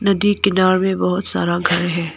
नदी किनारे बहुत सारा घर है।